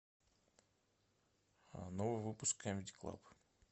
новый выпуск камеди клаб